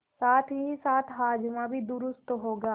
साथहीसाथ हाजमा भी दुरूस्त होगा